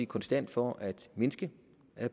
konstant for at mindske